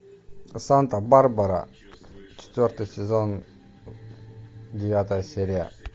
санта барбара четвертый сезон девятая серия